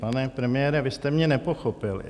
Pane premiére, vy jste mě nepochopil.